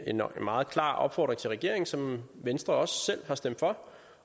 meget klar opfordring til regeringen som venstre også selv har stemt for